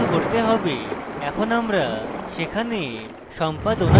এখন আমরা সেখানে সম্পাদনা দেখবো